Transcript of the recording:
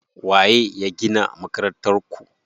Waye ya gina Makarantar ku?